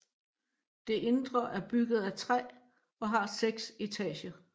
Det indre er bygget af træ og har seks etager